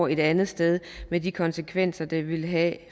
et andet sted med de konsekvenser det ville have